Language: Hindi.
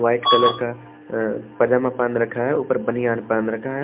वाइट कलर का अ पजामा पहन रखा है ऊपर बनियान पहन रखा है।